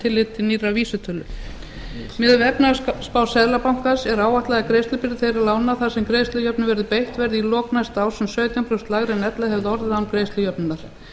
tilliti til nýrrar vísitölu miðað við efnahagsspá seðlabankans er áætlað að greiðslubyrði þeirra lána þar sem greiðslujöfnun verður beitt verði í lok næsta árs um sautján prósent lægri en ella hefði orðið án greiðslujöfnunar